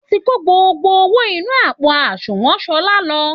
Wọ́n ti kó gbogbo owó inú àpò àsunwọ̀n Ṣọlá lọ